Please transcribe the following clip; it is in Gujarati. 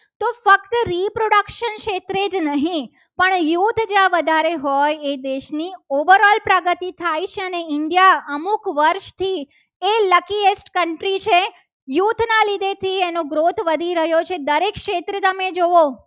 એ જ રહે. પણ યુદ્ધ જ્યાં વધારે હોય એ દેશની પ્રગતિ થાય. productive india અમુક વર્ષથી એ luckiest country છે. યુથના લીધે થી એનો growth વધી રહ્યો છે. દરેક ક્ષેત્રે તમે જુઓ